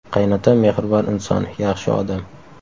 Qaynotam mehribon inson, yaxshi odam.